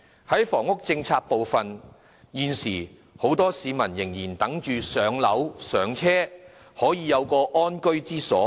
在房屋政策方面，現時很多市民仍在等待"上樓"、"上車"，可以有一個安居之所。